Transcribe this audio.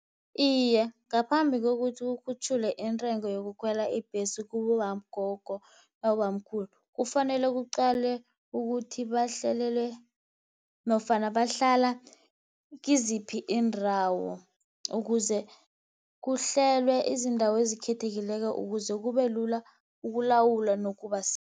Iye, ngaphambi kokuthi kukhutjhulwe intengo yokukhwela ibhesi kubogogo nabobamkhulu. Kufanele kuqalwe ukuthi bahlalele nofana bahlala kiziphi iindawo, ukuze kuhlelwe izindawo ezikhethekileko, ukuze kubelula ukulawula nokubasiza